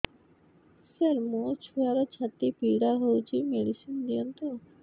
ସାର ମୋର ଛୁଆର ଛାତି ପୀଡା ହଉଚି ମେଡିସିନ ଦିଅନ୍ତୁ